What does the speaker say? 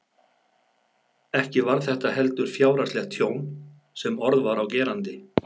Ekki var þetta heldur fjárhagslegt tjón sem orð var á gerandi.